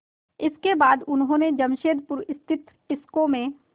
इसके बाद उन्होंने जमशेदपुर स्थित टिस्को में